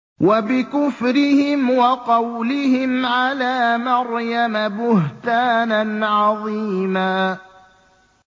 وَبِكُفْرِهِمْ وَقَوْلِهِمْ عَلَىٰ مَرْيَمَ بُهْتَانًا عَظِيمًا